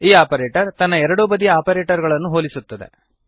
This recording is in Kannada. ಈ ಆಪರೇಟರ್ ತನ್ನ ಎರಡೂ ಬದಿಯ ಆಪರೇಟರ್ ಗಳನ್ನು ಹೋಲಿಸುತ್ತದೆ